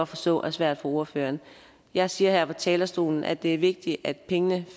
forstå er svært for ordføreren jeg siger her fra talerstolen at det er vigtigt at pengene